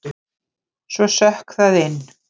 Svo sökk það inn.